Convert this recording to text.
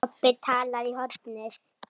Kobbi talaði í hornið.